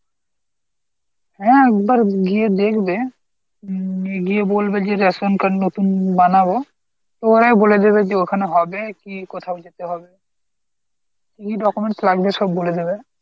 হ্যাঁ একবার গিয়ে দেখবে হম গিয়ে বলবে যে ration card নতুন বানাবো, ওরাই বলে দেবে যে ওখানে হবে কি কোথায় যেতে হবে, কী কী documents লাগবে সব বলে দেবে।